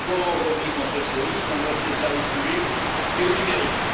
Comment, aujourd'hui, construire sa vie sans accès aux services publics et au numérique?